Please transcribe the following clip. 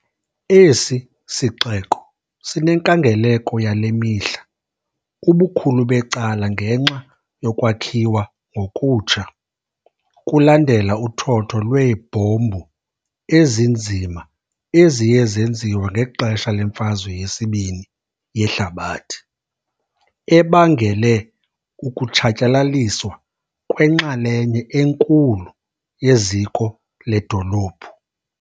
Esi sixeko sinenkangeleko yale mihla, ubukhulu becala ngenxa yokwakhiwa ngokutsha kulandela uthotho lweebhombu ezinzima eziye zenziwa ngexesha leMfazwe yeSibini yeHlabathi, ebangele ukutshatyalaliswa kwenxalenye enkulu yeziko ledolophu.